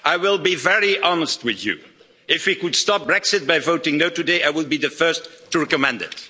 I will be very honest with you if we could stop Brexit by voting no' today, I would be the first to recommend it.